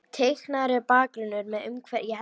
Teiknaður er bakgrunnur með umhverfi leiksins.